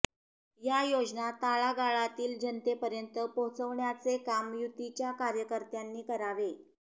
या योजना तळागाळातील जनतेपर्यंत पोहोचवण्याचे काम युतीच्या कार्यकर्त्यांनी करावे